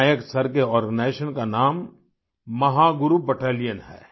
नायक sir के organisation का नाम महागुरु बैटेलियन है